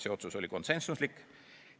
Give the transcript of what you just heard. See otsus oli konsensuslik.